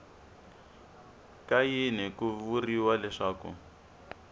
ka yini ku vuriwa leswaku